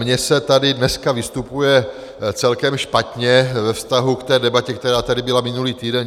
Mně se tady dneska vystupuje celkem špatně ve vztahu k té debatě, která tady byla minulý týden.